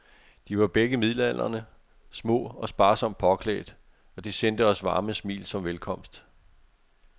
De var begge midaldrende, små og sparsomt påklædt, og de sendte os varme smil som velkomst.